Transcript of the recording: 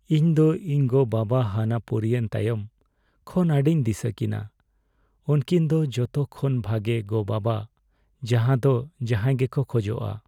ᱤᱧ ᱫᱚ ᱤᱧ ᱜᱚᱼᱵᱟᱵᱟ ᱦᱟᱱᱟ ᱯᱩᱨᱤᱭᱮᱱ ᱛᱟᱭᱚᱢ ᱠᱷᱚᱱ ᱟᱹᱰᱤᱧ ᱫᱤᱥᱟᱹᱠᱤᱱᱟ ᱾ ᱩᱝᱠᱤᱱ ᱫᱚ ᱡᱚᱛᱚ ᱠᱷᱚᱱ ᱵᱷᱟᱜᱮ ᱜᱚᱼᱵᱟᱵᱟ ᱡᱟᱦᱟ ᱫᱚ ᱡᱟᱦᱟᱭ ᱜᱮᱠᱚ ᱠᱷᱚᱡᱼᱟ ᱾